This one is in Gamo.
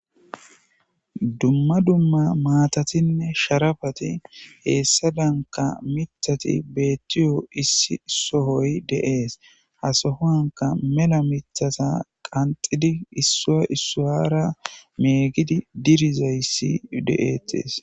dumma dumma maatatinne sharafati heessa danka mithati beettiyo issi sohoy de7ees hasohoanka mela mithata qanxidi issa issuwara meegidi dirizayssi de7eetees